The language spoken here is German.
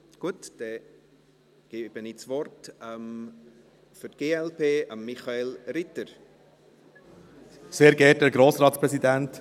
– Gut, dann gebe ich das Wort Michael Ritter für die glp.